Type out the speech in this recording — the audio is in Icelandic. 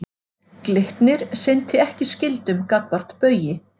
Glitnir sinnti ekki skyldum gagnvart Baugi